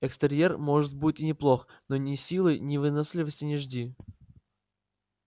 экстерьер может будет и неплох но ни силы ни выносливости не жди